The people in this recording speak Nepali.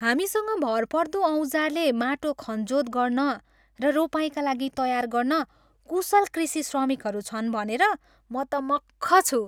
हामीसँग भरपर्दो औजारले माटो खनजोत गर्न र रोपाइँका लागि तयार गर्न कुशल कृषि श्रमिकहरू छन् भनेर म त मख्ख छु।